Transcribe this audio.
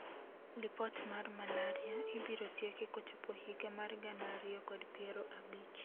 Lipot mar malaria ibiro tieki kochopo higa mar gana ariyo kod piero abich .